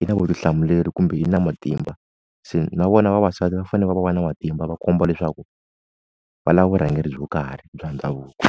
i na vutihlamuleri kumbe i na matimba, se na vona vavasati va fanele ku va na matimba va komba leswaku va lava vurhangeri byo karhi bya ndhavuko.